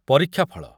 ପରୀକ୍ଷା ଫଳ